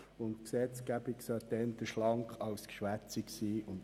Zudem sollte die Gesetzgebung eher schlank als geschwätzig sein.